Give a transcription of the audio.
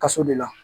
Kaso de la